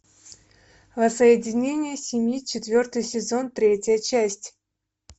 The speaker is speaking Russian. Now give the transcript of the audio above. воссоединение семьи четвертый сезон третья часть